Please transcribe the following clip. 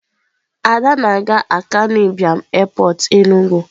ada na-aga akanu Ibiam Airport Enugu.